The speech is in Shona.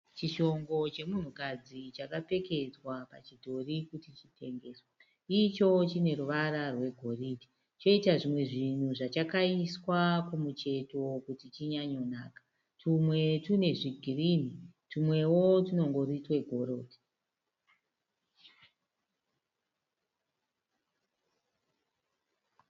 Chishongo chemunhukadzi chakapfekedzwa pachidhori kuti chitengeswe. Icho chine ruvara rwegoridhe choita zvimwe zvinhu zvakachakaiswa kumucheto kuti chinyanyonaka. Tumwe tune zvigirini, tumwewo tunongori twegoridhe.